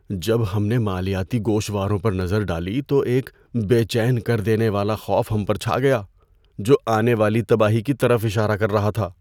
جب ہم نے مالیاتی گوشواروں پر نظر ڈالی تو ایک بے چین کر دینے والا خوف ہم پر چھا گیا، جو آنے والی تباہی کی طرف اشارہ کر رہا تھا۔